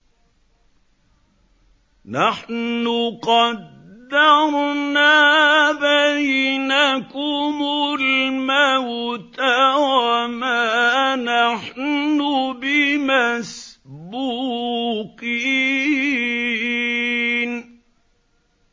نَحْنُ قَدَّرْنَا بَيْنَكُمُ الْمَوْتَ وَمَا نَحْنُ بِمَسْبُوقِينَ